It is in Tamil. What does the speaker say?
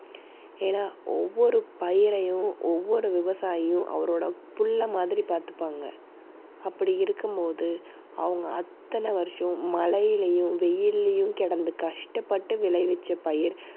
ஏன்னா ஒவ்வொரு பயிரையும் ஒவ்வொரு விவசாயியும் அவரோட பிள்ளை மாதிரி பார்த்துப்பாங்க. அப்படி இருக்கும்போது அவங்க அத்தனை வருஷம் மழையிலயும், வெயில்லயும் கிடந்து கஷ்டப்பட்டு விளைவித்த பயிர்